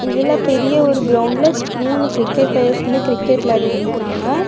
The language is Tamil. இதுல பெரிய ஒரு கிரவுண்ட்ல மூணு கிரிக்கெட் பிளேயர்ஸ் கிரிக்கெட் விளையாடிட்டு நிக்கிறாங்க.